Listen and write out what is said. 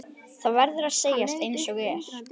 Það verður að segjast einsog er.